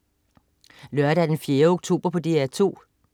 Lørdag den 4. oktober - DR 2: